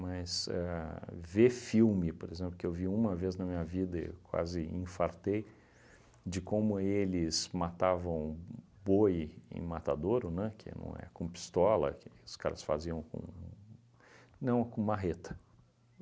Mas ver éh filme, por exemplo, que eu vi uma vez na minha vida e quase infartei, de como eles matavam boi em matadouro, né, que não é com pistola, que os caras faziam com... Não, com marreta.